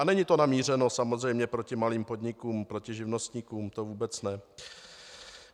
A není to namířeno samozřejmě proti malým podnikům, proti živnostníkům, to vůbec ne.